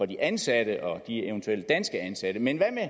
de ansatte og eventuelt danske ansatte men hvad med